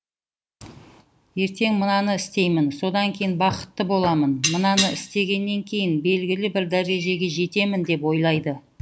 ертең мынаны істеймін содан кейін бақытты боламын мынаны істегеннен кейін белгілі бір дәрежеге жетемін деп ойлайды